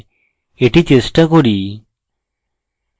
এটি চেষ্টা করি